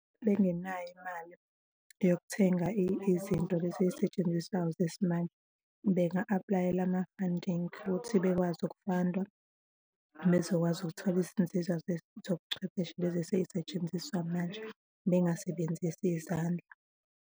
Bengenayo imali yokuthenga izinto lezi ey'setshenziswayo zesimanje, benga-apply-ela ama-funding futhi bekwazi ukufandwa bezokwazi ukuthola izinzuzo zobuchwepheshe lezi esey'setshenziswa manje bengasebenzisi izandla.